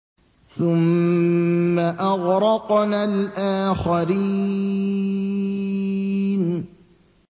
ثُمَّ أَغْرَقْنَا الْآخَرِينَ